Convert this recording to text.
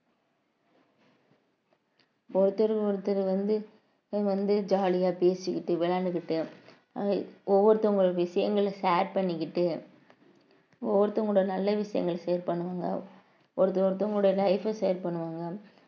ஒருத்தர் ஒருத்தர் வந்து வந்து jolly ஆ பேசிக்கிட்டு விளையாண்டுக்கிட்டு ஆஹ் ஒவ்வொருத்தவங்க விஷயங்களை share பண்ணிக்கிட்டு ஒவ்வொருத்தங்களோட நல்ல விஷயங்களை share பண்ணுங்க ஒருத்தர் ஒருத்தவங்களுடைய life அ share பண்ணுவாங்க